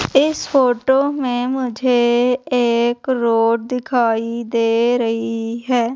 इस फोटो में मुझे एक रोड दिखाई दे रही है।